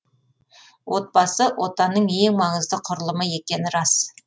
отбасы отанның ең маңызды құрылымы екені рас